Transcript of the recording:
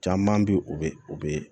Caman bɛ yen o bɛ u bɛ